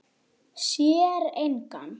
Sér engan.